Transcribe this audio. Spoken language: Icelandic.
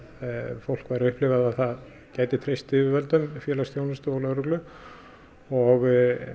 fólk væri að upplifa að það gæti treyst yfirvöldum félagsþjónustu og lögreglu og